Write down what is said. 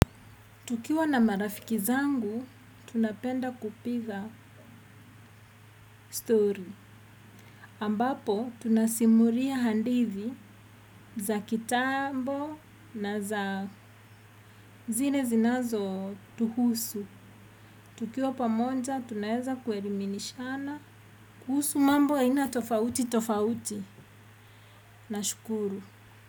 Tukiwa na marafiki zangu, tunapenda kupiga story. Ambapo, tunasimuria handithi za kitambo na za zile zinazo tuhusu. Tukiwa pamoja, tunaeza kueriminishana. Kuhusu mambo aina tofauti tofauti. Nashukuru.